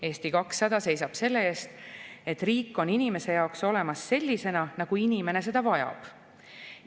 Eesti 200 seisab selle eest, et riik oleks inimese jaoks olemas sellisena, nagu inimene seda vajab.